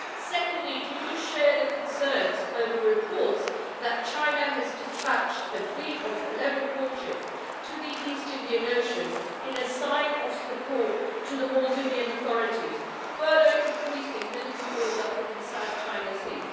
Secondly, do you share the concerns over reports that China has despatched a fleet of 11 warships to the East Indian Ocean in a sign of support to the Maldivian authorities, further increasing military build up in the South China Sea?